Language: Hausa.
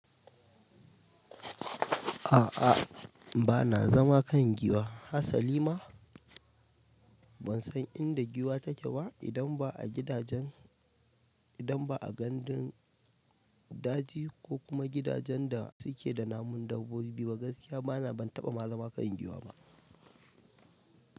A'a ba na zama kan giwa, hatsali ma ban san inda giwa take baidan ba a gidajen. Idan ba a gidan daji ko kuma gidajen da suke da namun dabbobi ba gaskiya bana ban taɓa zama kan giwa ba.